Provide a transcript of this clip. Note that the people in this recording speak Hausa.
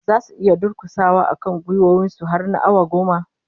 Zasu iya durkusawa akan gwiwoyin su har na awa goma?